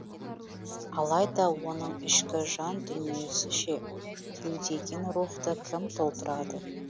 алайда оның ішкі жан дүниесі ше кеудеген рухты кім толтырады